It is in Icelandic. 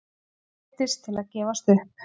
Neyddist til að gefast upp.